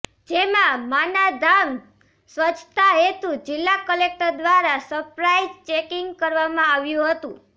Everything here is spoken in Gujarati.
જેમાં માં ના ધામ સ્વચ્છતા હેતું જિલ્લા કલેકટર દ્વારા સરપ્રાઇઝ ચેકીંગ કરવામાં આવ્યું હતું